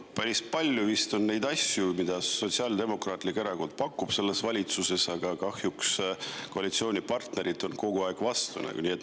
Päris palju on neid asju, mida Sotsiaaldemokraatlik Erakond on selles valitsuses pakkunud, aga kahjuks on koalitsioonipartnerid kogu aeg vastu olnud.